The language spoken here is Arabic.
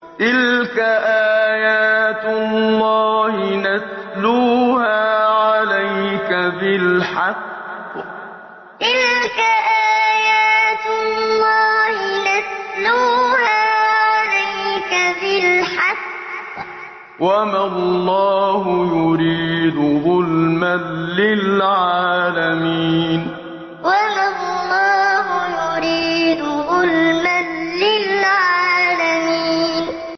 تِلْكَ آيَاتُ اللَّهِ نَتْلُوهَا عَلَيْكَ بِالْحَقِّ ۗ وَمَا اللَّهُ يُرِيدُ ظُلْمًا لِّلْعَالَمِينَ تِلْكَ آيَاتُ اللَّهِ نَتْلُوهَا عَلَيْكَ بِالْحَقِّ ۗ وَمَا اللَّهُ يُرِيدُ ظُلْمًا لِّلْعَالَمِينَ